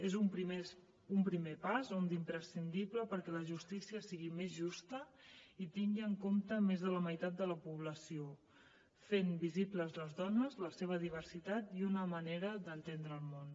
és un primer pas un d’imprescindible perquè la justícia sigui més justa i tingui en compte més de la meitat de la població fent visibles les dones la seva diversitat i una manera d’entendre el món